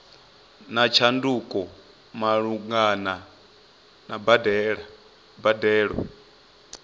na tshanduko malugana na mbadelo